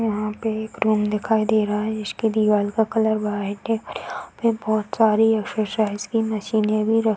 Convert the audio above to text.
यहाँ पे एक रूम दिखाई दे रहा है जिसकी दीवाल का कलर वाइट है और यहाँ पे बोहोत सारी एक्सरसाइज की मशीने भी र --